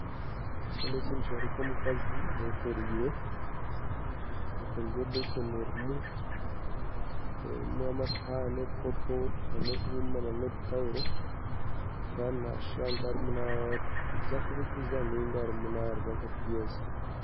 Ekishushani eki nikyoreka omukazi ayekoreire ebaafu erimu esihaani ebikopo nana ehuuma namatawuulo Kandi nashusha kariyo naza kubiguza nari naruga kubyozya